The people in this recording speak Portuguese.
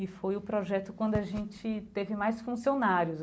E foi o projeto quando a gente teve mais funcionários.